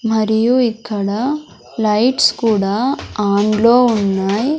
మరియు ఇక్కడ లైట్స్ కూడా ఆన్ లో ఉన్నాయి.